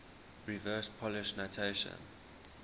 reverse polish notation